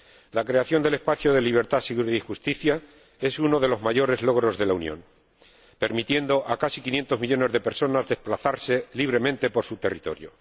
La creación del espacio de libertad, seguridad y justicia es uno de los mayores logros de la Unión, permitiendo a casi 500 millones de personas desplazarse libremente por su territorio.